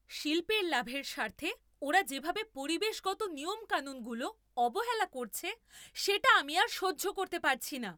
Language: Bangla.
শিল্পের লাভের স্বার্থে ওরা যেভাবে পরিবেশগত নিয়মকানুনগুলো অবহেলা করছে সেটা আমি আর সহ্য করতে পারছি না।